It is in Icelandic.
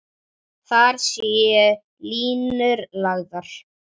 Þar séu línur lagðar.